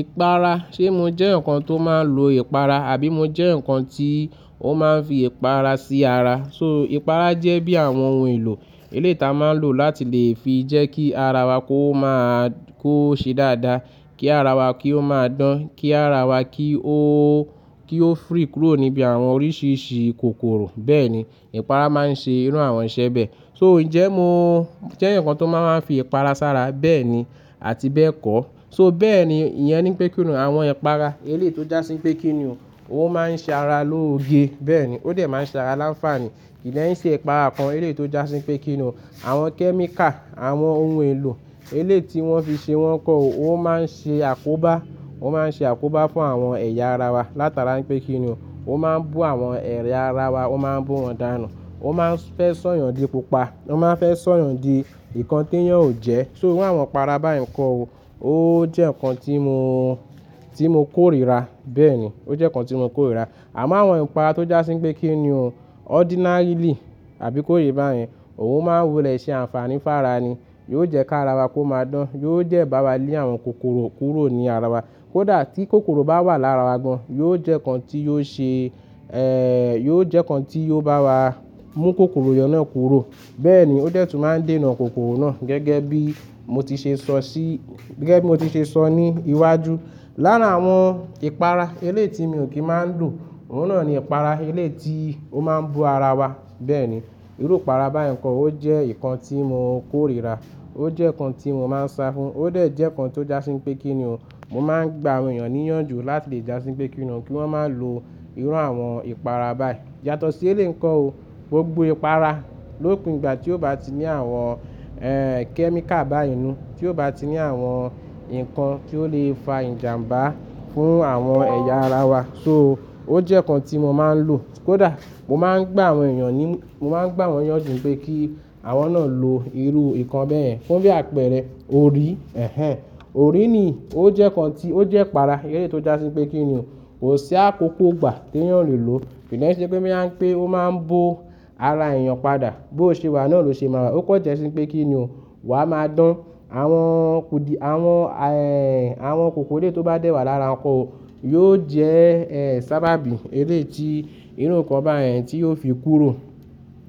Ìpara, ṣé mo jẹ́ ǹkan tó máa ń lo ìpara àbí mo jẹ́ ǹkan tí ó máa ń fi ìpara sí ara? So ìpara jẹ́ bí àwọn ohun èlò eléèta máa ń lò láti lè fi jẹ́ kí ara wa kó máa kó ṣe dáadáa, kí ara wa kí ó máa dán, kí ara wa kí ó kí ó free kúrò níbi àwọn oríṣìíríṣìí kòkòrò. Bẹ́ẹ̀ni, ìpara máa ń ṣe irú àwọn iṣẹ́ bẹ. So ǹjẹ́ mo jẹ́ ǹkan tó máa wa ń fi ìpara sára? Bẹ́ẹ̀ni, àti bẹ́ẹ̀ kọ́. So bẹ́ẹ̀ ni ìyẹn ni pé kíni ohun àwọn ìpara eléyi to já sí pé kíni o, ó máa ń ṣe ara lóge. Bẹ́ẹ̀ni, ó dẹ̀ máa ń ṣe ara láńfààní. Kìíní ṣe ìpara kan eléèto já sí pé kíni o, àwọn kẹ́míkà, àwọn ohun èlò eléè tí wọ́n fi ṣe wọ́n kọ́ ọ, ó máa ń ṣe àkóbá. Ó máa ń ṣe àkóbá fún àwọn ẹ̀yà ara wa. Látara pé kíni o, ó máa ń bú àwọn ẹ̀yà ara wa, ó máa ń bú wọn dànù. Ó máa ń fẹ́ sọ̀yàn di pupa. Ó máa ń fẹ́ sọ̀yàn di ìkán tí ènìyàn ò jẹ́. So àwọn ìpara báyìí ńkọ ó jẹ́ ǹkan tí mo tí mo kórìíra. Bẹ́ẹ̀ni, ó jẹ́ ǹkan tí mo kórìíra. Àmọ́ àwọn ìpara tó já sí pé kíni o ordinarily àbí kó yè bá yẹn, òun máa ń wùlẹ̀ ṣe ànfààní fára ni. Yóò jẹ́ ká ara wa kó máa dán. Yóò jẹ́ bá wa lé àwọn kòkòrò kúrò ní ara wa. Kódà tí kòkòrò bá wà lára ara wa gan, yóò jẹ́ ǹkan tí yóò ṣe, ẹ́ẹ́, yóò jẹ́ ǹkan tí yóò bá wa mú kòkòrò yẹn náà kúrò. Bẹ́ẹ̀ni, ó dẹ̀ tún máa ń dènà kòkòrò náà gẹ́gẹ́ bí mo ti ṣe sọ sí gẹ́gẹ́ bí mo ti ṣe sọ ní iwájú. Lára àwọn ìpara eléè tí mi ò kí ń máa ń lò, òun náà ni ìpara eléè tí ó máa ń bú ara wa. Bẹ́ẹ̀ni, irú ìpara báyìí ńkọ ó jẹ́ ìkán tí mo kórìíra. Ó jẹ́ ǹkan tí mo máa ń sá fún. Ó dẹ̀ jẹ́ ǹkan tó já sí pé kíni o, mo máa ń gba àwọn ènìyàn níyànjú láti lè já sí pé kíni o kí wọ́n máa ń lo irú àwọn ìpara báyìí. Yátọ̀ sí eléè ńkọ ó, gbogbo ìpara lópin ìgbà tí ó bá ti ní àwọn, ẹ́ẹ́, kẹ́míkà bá inú, tí ó bá ti ní àwọn ǹkan tí ó lè fa ìjàmbá fún àwọn ẹ̀yà ara wa. So ó jẹ́ ǹkan tí mo máa ń lò. Kódà mo máa ń gba àwọn ènìyàn ní mo máa ń gba àwọn ènìyàn jù pé kí àwọn náà lo irú ìkan bẹ́ẹ̀ yẹn. Tó bí àpẹẹrẹ orí, ẹ̀hen. Orí ni ó jẹ́ ǹkan tí ó jẹ́ ìpara eléèto já sí pé kíni o, ò sí àkókò gbà tí ènìyàn ò lè lò. Kìíní ṣe pé mí à ń pé ó máa ń bo ara ènìyàn padà. Bí ó ṣe wà náà ló ṣe máa wà. Ó kan jẹ́ ẹ́ sí pé kíni o, wàá máa dán. Àwọn kùdì àwọn, ẹ́ẹ́, àwọn kòkòrò tí ó bá dẹ̀ wà lára ọkọ, yóò jẹ́, ẹ́ẹ́, sábàbí eléè tí irú ǹkan báyìí tí yóò fi kúrò.